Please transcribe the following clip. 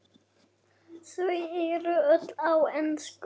Þau eru öll á ensku.